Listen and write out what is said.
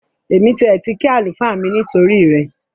Èmi tiẹ̀ ti kí àlùfáà mi nítorí rẹ